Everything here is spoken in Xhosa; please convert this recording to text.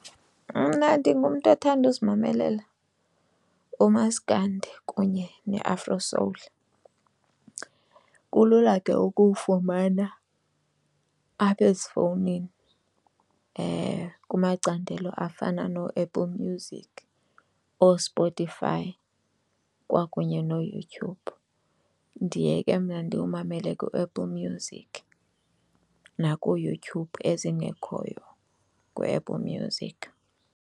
Mna ndingumntu othanda uzimamelela umaskandi kunye ne-afro soul. Kulula ke ukuwufumana apha ezifowunini kumacandelo afana nooApple Music ooSpotify kwakunye nooYouTube. Ndiye ke mna ndiwumamele kuApple Music nakuYouTube ezingekhoyo kuApple Music.